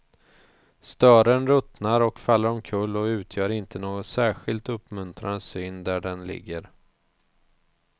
Stören ruttnar och faller omkull och utgör inte någon särskilt uppmuntrande syn där den ligger.